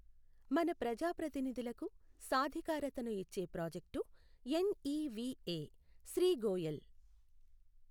మన ప్రజా ప్రతినిధులకు సాధికారతను ఇచ్చే ప్రాజెక్టు ఎన్ఇవిఎ, శ్రీ గోయల్